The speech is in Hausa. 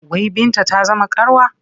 Wai Binta ta zama karuwa?